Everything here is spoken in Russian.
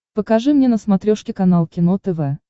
покажи мне на смотрешке канал кино тв